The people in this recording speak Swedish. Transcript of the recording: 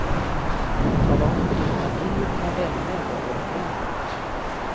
Tala om för din familj och dina vänner vad du håller på med.